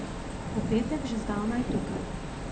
V petek, že zdavnaj, tukaj.